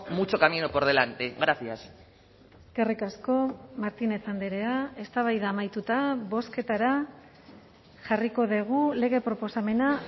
mucho camino por delante gracias eskerrik asko martínez andrea eztabaida amaituta bozketara jarriko dugu lege proposamena